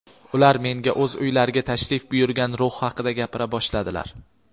Ular menga o‘z uylariga tashrif buyurgan ruh haqida gapira boshladilar.